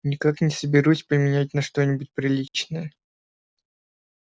никак не соберусь поменять на что-нибудь приличное